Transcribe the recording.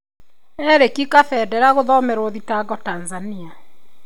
Erick Kabendera gũthomerwob thitango Tanzania.